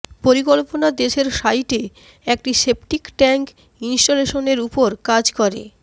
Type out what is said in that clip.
পরিকল্পনা দেশের সাইটে একটি সেপটিক ট্যাংক ইনস্টলেশনের উপর কাজ করে